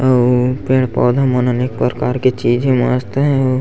अऊ पेड़-पौधा मन अनेक प्रकार के चीज हे मस्त हे।